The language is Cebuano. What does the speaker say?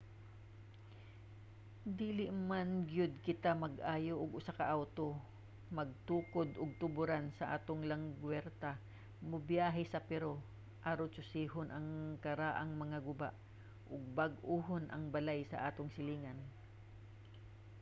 dili man gyud kita mag-ayo og usa ka awto magtukod og tuboran sa atong lagwerta mobiyahe sa peru aron susihon ang karaang mga guba o bag-ohon ang balay sa atong silingan